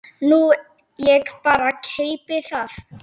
Nú ég bara. keypti það.